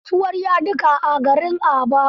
Akwai kasuwar yadika a garin Aba.